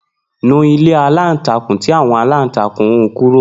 Nu ilé aláǹtakùn tí àwon aláǹtakùn hun kúrò.